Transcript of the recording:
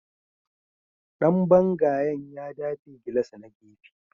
Dan bangayen ya dafe gilas na gefe